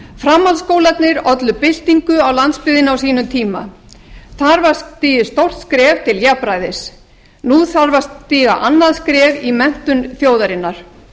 framhaldsskólarnir ollu byltingu á landsbyggðinni þar var stigið stórt skref til jafnræðis nú þarf að stíga annað skref í menntun þjóðarinnar